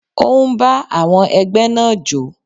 Ó ń bá àwọn ẹgbẹ́ náà jó.